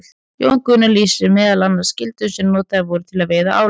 Jón Gunnar lýsir þar meðal annars gildrum sem notaðar voru til að veiða ála.